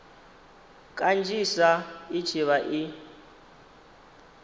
kanzhisa i tshi vha i